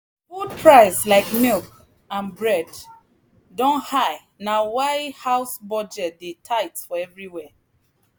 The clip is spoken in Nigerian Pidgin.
food price like milk and bread don high na why house budget dey tight for everywhere.